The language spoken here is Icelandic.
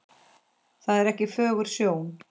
Það er ekki fögur sjón.